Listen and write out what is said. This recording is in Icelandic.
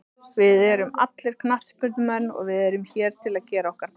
Við erum allir knattspyrnumenn og við erum hér til að gera okkar besta.